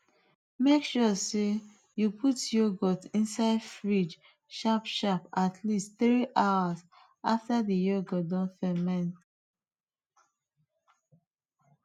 make sure sey you put yoghurt inside fridge sharp sharp atleast three hours after the yoghurt don ferment